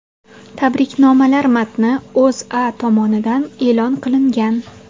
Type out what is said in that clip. Tabriknomalar matni O‘zA tomonidan e’lon qilingan .